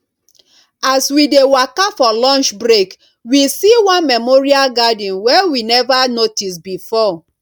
as we dey waka for lunch break we see one memorial garden wey we never notice before